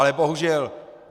Ale bohužel.